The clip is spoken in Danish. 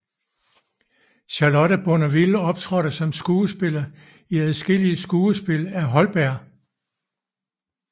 Charlotte Bournonville optrådte som skuespiller i adskillige skuespil af Holberg